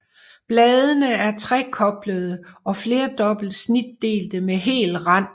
Bladene er trekoblede og flerdobbelt snitdelte med hel rand